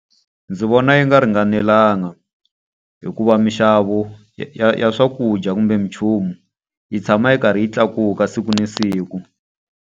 Ndzi vona yi nga ringanelanga. Hikuva mixavo ya swakudya kumbe mi nchumu, yi tshama yi karhi yi tlakuka siku na siku.